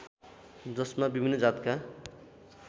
जसमा विभिन्न जातका